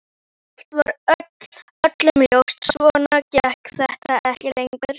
Eitt var öllum ljóst: Svona gekk þetta ekki lengur.